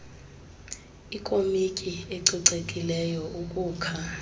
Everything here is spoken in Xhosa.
ikomityi ecocekileyo ukukha